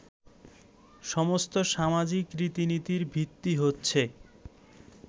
সমস্ত সামাজিক রীতিনীতির ভিত্তি হচ্ছে